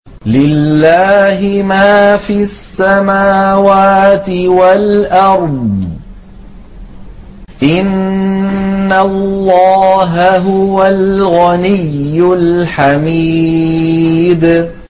لِلَّهِ مَا فِي السَّمَاوَاتِ وَالْأَرْضِ ۚ إِنَّ اللَّهَ هُوَ الْغَنِيُّ الْحَمِيدُ